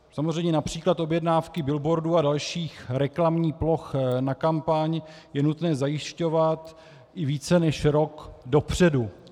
Samozřejmě například objednávky billboardů a dalších reklamních ploch na kampaň je nutné zajišťovat i více než rok dopředu.